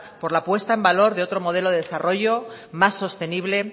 por la puesta en valor de otro modelo de desarrollo más sostenible